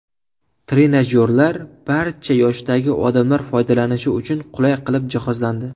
Trenajyorlar barcha yoshdagi odamlar foydalanishi uchun qulay qilib jihozlandi.